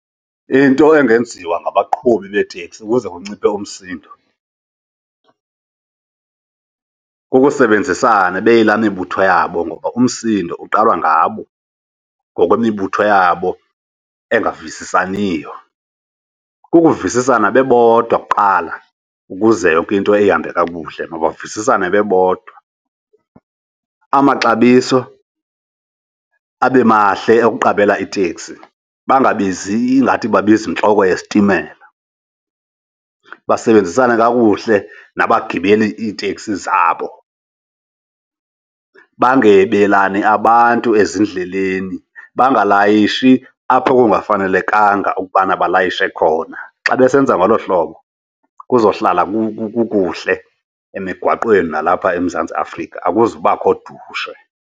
Into engenziwa ngabaqhubi beetekisi ukuze kunciphe umsindo, kukusebenzisana beyilaa mibutho yabo ngoba umsindo uqala ngabo ngokwemibutho yabo engavisisaniyo. Kukuvisisana bebodwa kuqala ukuze yonke into ihambe kakuhle, mabavisisane bebodwa. Amaxabiso abe mahle okuqabela itekisi, bangabizi ingathi babiza intloko yesitimela. Basebenzisane kakuhle nabagibeli iiteksi zabo. Bangebelani abantu ezindleleni, bangalayishi apho okungafanelekanga ukubana balayishe khona. Xa besenza ngolo hlobo kuzohlala kukuhle emigwaqweni nalapha eMzantsi Afrika, akuzubakho dushe.